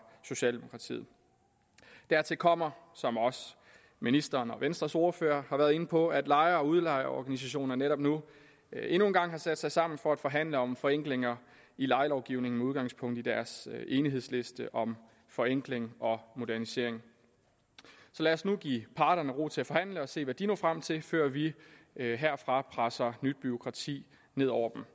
socialdemokratiet dertil kommer som også ministeren og venstres ordfører har været inde på at lejer og udlejerorganisationer netop nu endnu en gang har sat sig sammen for at forhandle om forenklinger i lejelovgivningen med udgangspunkt i deres enighedsliste om forenkling og modernisering så lad os nu give parterne ro til at forhandle og se hvad de når frem til før vi herfra presser nyt bureaukrati ned over